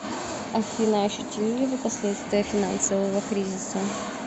афина ощутили ли вы последствия финансового кризиса